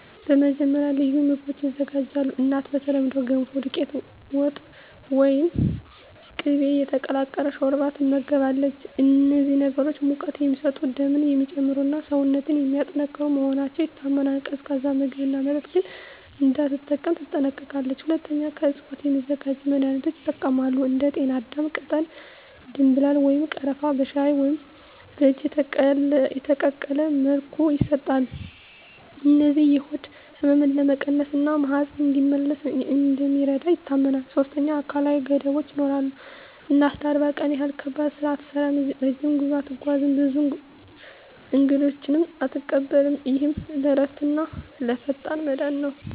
መጀመሪያ፣ ልዩ ምግቦች ይዘጋጃሉ። እናቱ በተለምዶ “ገንፎ”፣ “ዱቄት ወጥ” ወይም “ቅቤ የተቀላቀለ ሾርባ” ትመገባለች። እነዚህ ምግቦች ሙቀት የሚሰጡ፣ ደምን የሚጨምሩ እና ሰውነትን የሚያጠናክሩ መሆናቸው ይታመናል። ቀዝቃዛ ምግብና መጠጥ ግን እንዳትጠቀም ትጠነቀቃለች። ሁለተኛ፣ ከእፅዋት የሚዘጋጁ መድኃኒቶች ይጠቀማሉ። እንደ ጤናዳም ቅጠል፣ ደምብላል ወይም ቀረፋ በሻይ ወይም በእጅ የተቀቀለ መልኩ ይሰጣሉ። እነዚህ የሆድ ህመምን ለመቀነስ እና ማህፀን እንዲመለስ እንደሚረዱ ይታመናል። ሶስተኛ፣ አካላዊ ገደቦች ይኖራሉ። እናቱ ለ40 ቀን ያህል ከባድ ስራ አትሠራም፣ ረጅም ጉዞ አትጓዝም፣ ብዙ እንግዶችንም አትቀበልም። ይህ ለእረፍትና ለፈጣን መዳን ነው